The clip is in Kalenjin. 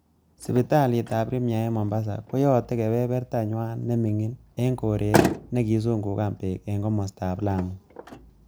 Sipitalitab Premier en Mombasa, koyote keberbertanywan nemingin en koret nekisungukan beek en komostab Lamu.